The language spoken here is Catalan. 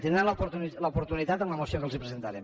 en tindran l’oportunitat en la moció que els presentarem